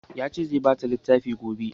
Ya ce zai ba ta littafi